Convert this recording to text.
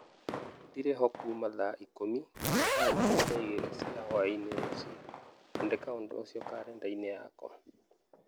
Ndirĩ ho kuuma thaa ikũmi nginya thaa ikũmi na igĩrĩ cia hwaĩ-inĩ rũciũ. Andĩka ũndũ ũcio karenda-inĩ yakwa